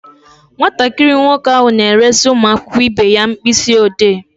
Nwatakịrị nwoke ahụ na-eresị ụmụ akwụkwọ ibe ya mkpịsị ọdee.